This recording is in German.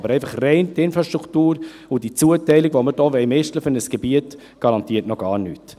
Aber einfach rein die Infrastruktur und die Zuteilung, die wir hier für ein Gebiet «mischeln» wollen, garantiert noch gar nichts.